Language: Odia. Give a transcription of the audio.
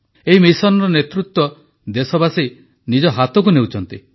ଏହି ମିଶନର ନେତୃତ୍ୱ ଦେଶବାସୀ ନିଜ ହାତକୁ ନେଉଛନ୍ତି